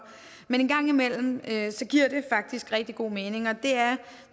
men en gang imellem giver det faktisk rigtig god mening og det er